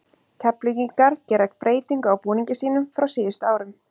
Keflvíkingar gera breytingu á búningi sínum frá síðustu árum.